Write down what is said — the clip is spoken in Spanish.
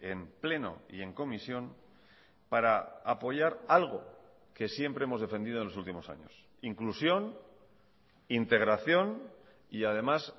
en pleno y en comisión para apoyar algo que siempre hemos defendido en los últimos años inclusión integración y además